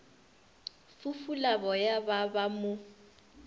fufula boya ba ba mo